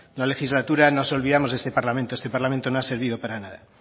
la legislatura nos olvidamos de este parlamento este parlamento no ha servido para nada